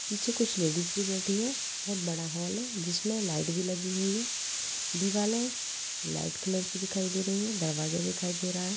पीछे कुछ लेडिज भी बैठी हैं बहुत बड़ा हॉल है। जिसमें लाइट भी लगी हुई है दीवाले लाइट कलर की दिखाई दे रही है। दरवाजे दिखाई दे रहा है।